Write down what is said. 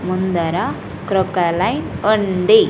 ముందర క్రోకొలైన్ ఉంది.